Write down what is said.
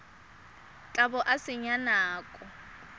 tla bo o senya nako